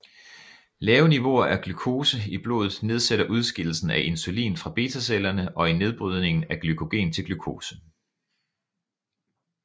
Lave niveauer af glukose i blodet nedsætter udskillelsen af insulin fra betacellerne og i nedbrydningen af glykogen til glukose